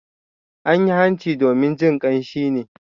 An yi hanci domin jin kamshi ne.